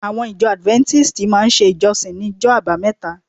Àwọn ìjọ Adventists máa ń ṣe ìjọsìn ní ọjọ́ àbámẹ́ta